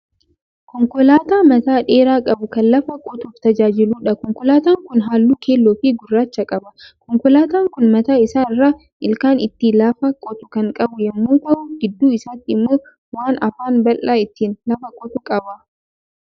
Konkolaataa mataa dheeraa qabu kan lafa qotuuf tajaajiluudha. Konkolaataan kun halluu keelloo fi gurraacha qaba. Konkolaataan kun mataa isaa irraa ilkaan ittin lafa qotu kan qabu yemmuu ta'u gidduu isaatii immoo waan afaan bal'aa ittiin lafa qotu qaba.